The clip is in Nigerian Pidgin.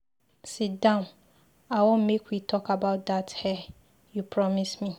Sit down, I wan make we talk about dat hair you promise me.